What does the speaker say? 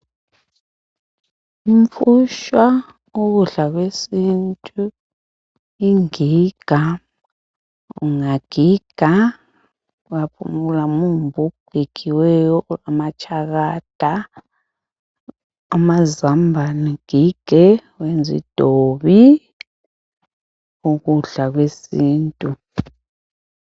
Umfutshwa ukudla kwesintu ingiga ungagiga umumbu ogigiweyo ongamatshakada amazambane ugige wenze idovi ukudla kwesintu.